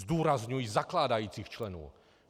Zdůrazňuji zakládajících členů.